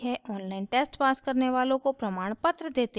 online test pass करने वालों को प्रमाणपत्र देते हैं